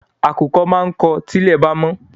Àkùkọ á máa kọ tí ilẹ̀ bá mọ́